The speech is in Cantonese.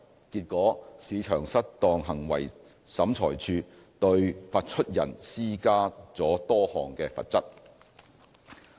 結果，市場失當行為審裁處對發出人施加了多項罰則。